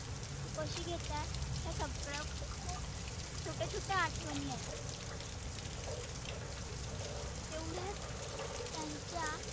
तु कशी घेत आहे. हे सगळ खुप छोट्या छोट्या आठवनी आहेत. तेवढ्याच त्यांच्या